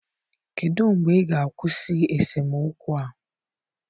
Kedụ mgbe ị ga-akwụsị esemokwu a?